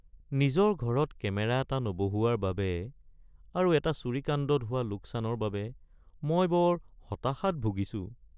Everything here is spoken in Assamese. নিজৰ ঘৰত কেমেৰা এটা নবহুৱাৰ বাবে আৰু এটা চুৰিকাণ্ডত হোৱা লোকচানৰ বাবে মই বৰ হতাশাত ভূগিছোঁ।(নাগৰিক)